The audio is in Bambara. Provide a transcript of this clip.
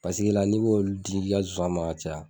Paseke la, ni ko ni tigi ka nsonsan man ka caya.